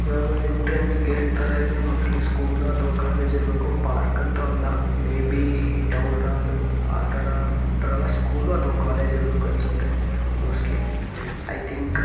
ಇದು ಯಾವುದೋ entrance gate ತರ ಇದೆ ಮೋಸ್ಟ್ಲಿ ಸ್ಕೂಲ್ ಅಥವಾ ಕಾಲೇಜ್ ಇರಬೇಕು ಪಾರ್ಕ್ ಅಂತೂ ಅಲ್ಲ ಮೇ ಬಿ ಟೌನ್ ಹಾಲ್ ಆತರ ಆತರ ಸ್ಕೂಲ್ ಅಥವಾ ಕಾಲೇಜ್ ಇರಬೇಕು ಅನ್ಸುತ್ತೆ ಮೋಸ್ಟ್ಲಿ ಐ ಥಿಂಕ್.